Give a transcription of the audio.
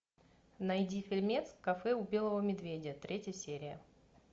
найди фильмец кафе у белого медведя третья серия